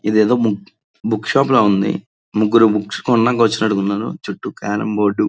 ఇదేదో బు book shop లా ఉంది ముగ్గురు బుక్స్ కొనడానికి వచ్చినట్టు ఉన్నారు చుట్టూ కేరమ్ బోర్డు --